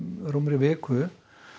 rúmri viku